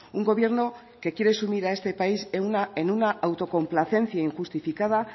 un gobierno que quiere sumir a este país en una autocomplacencia injustificada